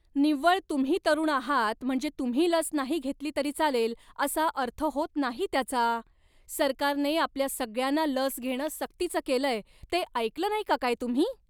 निव्वळ तुम्ही तरुण आहात म्हणजे तुम्ही लस नाही घेतली तरी चालेल असा अर्थ होत नाही त्याचा. सरकारने आपल्या सगळ्यांना लस घेणं सक्तीचं केलंय ते ऐकलं नाही का काय तुम्ही?